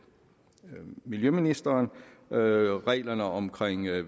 miljøministeren ændret reglerne om